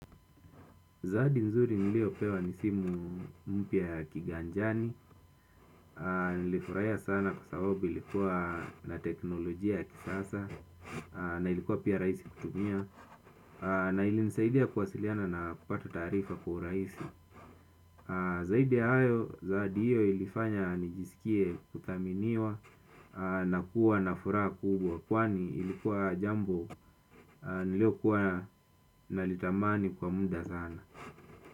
Zawadi nzuri niliyopewa ni simu mpya ya kiganjani, na nilifurahia sana kwa sababu ilikuwa na teknolojia ya kisasa, na ilikuwa pia rahisi kutumia, na ilinisaidia kuwasiliana na kupata taarifa kwa urahisi. Zaidi ya hayo, zawadi hiyo ilifanya nijisikie kuthaminiwa, na kuwa na furaha kubwa kwani ilikuwa jambo niliyokuwa nalitamani kwa muda sana.